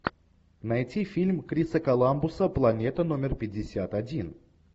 найти фильм криса коламбуса планета номер пятьдесят один